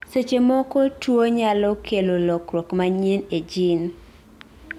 seche moko tuwo nyalo kelo lokruok manyien e gene